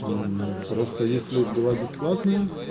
просто если два бесплатные